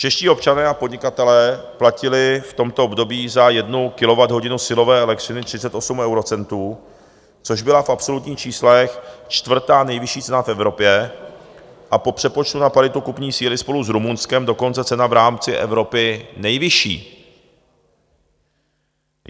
Čeští občané a podnikatelé platili v tomto období za 1 kWh silové elektřiny 38 eurocentů, což byla v absolutních číslech čtvrtá nejvyšší cena v Evropě a po přepočtu na paritu kupní síly spolu s Rumunskem dokonce cena v rámci Evropy nejvyšší.